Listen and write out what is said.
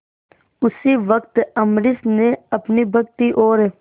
उसी वक्त अम्बरीश ने अपनी भक्ति और